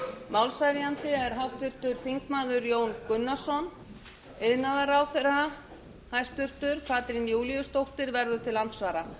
málshefjandi er háttvirtur þingmaður jón gunnarsson hæstvirtur iðnaðarráðherra katrín júlíusdóttir verður til andsvara